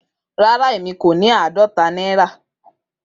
Rara emi ko ni aadọta naira.